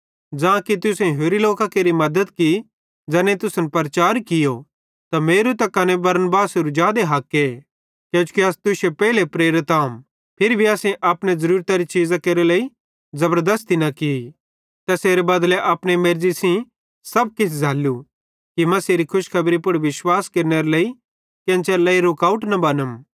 ज़ां कि तुसेईं होरि लोकां केरि मद्दत की ज़ैनेईं तुसन प्रचार कियो त मेरू त कने बरनबासेरू जादे हके किजोकि अस तुश्शे पेइले प्रेरित आम फिर भी असेईं अपने ज़रूरतरे चीज़ां केरे लेइ ज़बरदस्ती न की तैसेरे बदले अपने मेर्ज़ी सेइं सब किछ झ़ैल्लू कि मसीहेरे खुशखेबरी पुड़ विश्वास केरनेरे लेइ केन्च़रे लेइ रुकावट बनम